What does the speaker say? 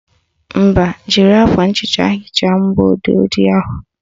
Mba, jiri akwa nhicha hichaa mgbọodee ojii ahụ